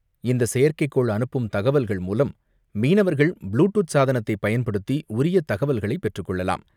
இந்த செயற்கைக்கோள் அனுப்பும் தகவல்கள் மூலம், மீனவர்கள் ப்ளு டூத் சாதனத்தை பயன்படுத்தி, உரிய தகவல்களை பெற்றுக்கொள்ளலாம்.